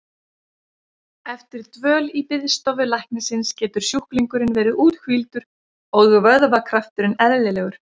Eftir dvöl í biðstofu læknisins getur sjúklingurinn verið úthvíldur og vöðvakrafturinn eðlilegur.